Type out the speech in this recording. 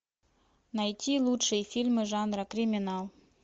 найти лучшие фильмы жанра криминал